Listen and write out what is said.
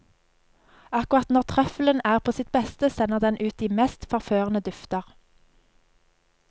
Akkurat når trøffelen er på sitt beste, sender den ut de mest forførende dufter.